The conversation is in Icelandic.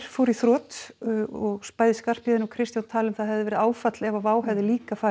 fór í þrot og bæði Skarphéðinn og Kristján tala um að það hefði verið áfall ef Wow hefði líka farið